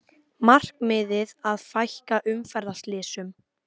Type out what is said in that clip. Markmiðið að fækka umferðarslysum